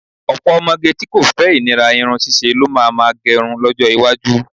Ọ̀pọ̀ ọmọge tí kò fẹ́ ìnira irun ṣíṣe lo má máa gẹrun lọ́jọ́ iwájú